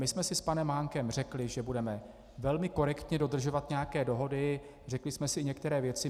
My jsme si s panem Mánkem řekli, že budeme velmi korektně dodržovat nějaké dohody, řekli jsme si některé věci.